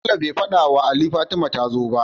bello be fadawa Ali Fatima tazo ba?